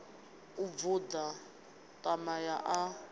u vunḓa ṋama ya ḽa